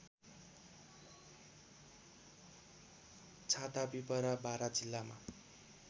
छातापिपरा बारा जिल्लामा